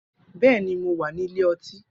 Bẹẹni, Mo wa ni ile-oti